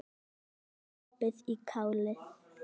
Ekki sopið í kálið.